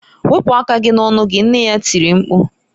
Wepụ aka gị n'ọnụ gị! nne ya tiri mkpu.